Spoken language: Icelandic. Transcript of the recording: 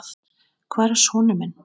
Hvar er sonur minn?